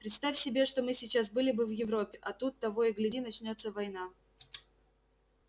представь себе что мы сейчас были бы в европе а тут того и гляди начнётся война